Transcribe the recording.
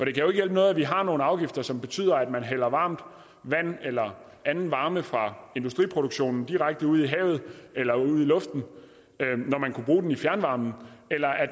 ikke hjælpe noget at vi har nogle afgifter som betyder at man hælder varmt vand eller anden varme fra industriproduktionen direkte ud i havet eller ud i luften når man kunne bruge den i fjernvarmen eller